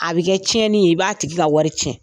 A bɛ kɛ tiɲɛni ye i b'a tigi ka wari tiɲɛ.